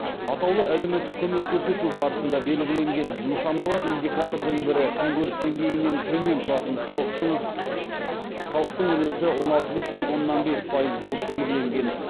атаулы әлеуметтік көмек көрсету барысында белгіленген нысаналы индикатордың бірі күнкөріс деңгейінен төмен тұратын халықтың үлесі он алты бүтін оннан бес пайыз болып белгіленген